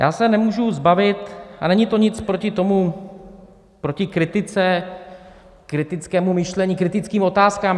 Já se nemůžu zbavit, a není to nic proti tomu, proti kritice, kritickému myšlení, kritickým otázkám.